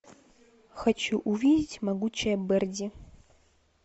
хочу увидеть могучая берди